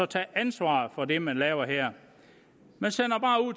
tage ansvaret for det man laver her man sender